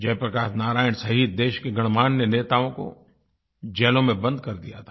जयप्रकाश नारायण सहित देश के गणमान्य नेताओं को जेलों में बंद कर दिया था